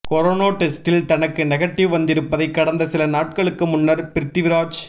corona டெஸ்டில் தனக்கு negative வந்திருப்பதை கடந்த சில நாட்களுக்கு முன்னர் பிரித்விராஜ்